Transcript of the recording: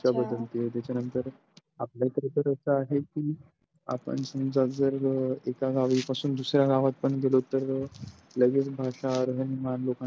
त्याच्या नंतर आपला तर इथं आहे कि आपण समजा जर एका गावापासून दुसऱ्या गावात पण गेलो तर लगेच भाषा राहणीमान लोकांचं बदलते